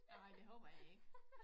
Nej det håber jeg ikke